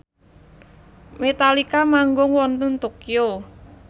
Metallica manggung wonten Tokyo